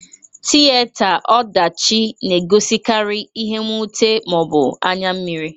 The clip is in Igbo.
Tiyeta ọdachị na egosikari ihe nwute ma ọ bụ anya mmịrị.